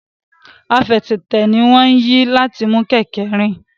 Àfẹsẹ̀tẹ̀ ní wón yí láti mú kéké rìn.